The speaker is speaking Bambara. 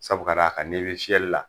Sabu ka d'a kan n'i be fiyɛli la